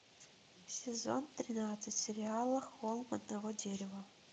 сезон тринадцать сериала холм одного дерева